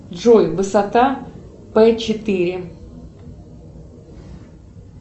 джой высота п четыре